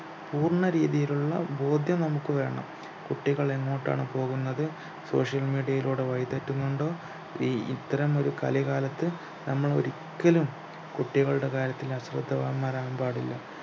പൂർണ രീതിയിലുള്ള ബോധ്യം നമുക്ക് വേണം കുട്ടികളെങ്ങോട്ടാണ് പോകുന്നത് social media ലൂടെ വഴിതെറ്റുന്നുണ്ടോ ഈ ഇത്തരം ഒരു കലികാലത് നമ്മൾ ഒരിക്കലും കുട്ടികളുടെ കാര്യത്തിൽ അശ്രദ്ധവാന്മാരാവാൻ പാടില്ല